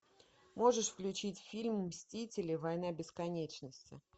можешь включить фильм мстители война бесконечности